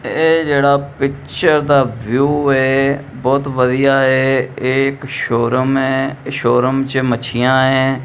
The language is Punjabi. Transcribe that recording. ਤੇ ਇਹ ਜਿਹੜਾ ਪਿੱਚਰ ਦਾ ਵਿਊ ਏ ਬਹੁਤ ਵਧੀਆ ਏ ਇਹ ਇੱਕ ਸ਼ੋਰੂਮ ਐ ਸ਼ੋਰੂਮ 'ਚ ਮੱਛੀਆਂ ਐਂ।